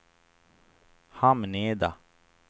Hamneda